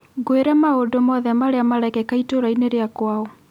ngwĩre maũndũ mothe marĩa marekĩka itũũrainĩ rĩa kwao